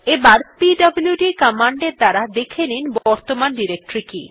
আবার পিডব্লুড কমান্ড এর দ্বারা দেখে নিন বর্তমান ডিরেক্টরী কি